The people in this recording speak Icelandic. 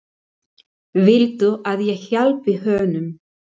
Viltu að ég hjálpi honum?